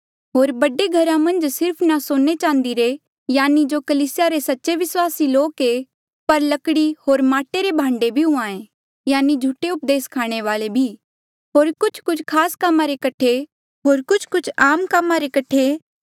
होर बड़े घरा मन्झ ना सिर्फ सोने चांदी रे यानि जो कलीसिया रे सच्चे विस्वासी लोक ऐें पर लकड़ी होर माटे रे भांडे भी हुंहां ऐें यानि झूठे उपदेस स्खाणे वाले भी होर कुछकुछ खास कामा रे कठे होर कुछकुछ आम कामा रे कठे